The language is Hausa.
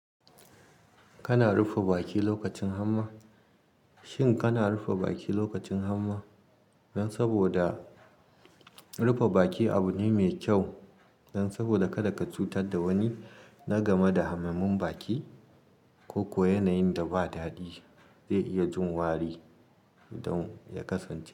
Kana rufe baki lokacin hamma. Shin kana rufe baki lokacin hamma? Dan saboda rufe baki abu ne mai kyau, dan saboda kada ka cutar da wani na game da hamammun baki, koko yanayin da ba dadi zai iya jin wari don ya kasance.